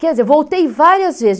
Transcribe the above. Quer dizer, voltei várias vezes.